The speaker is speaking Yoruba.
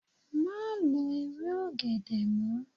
Má lo ewé ọ̀gẹ̀dẹ̀ mọ́.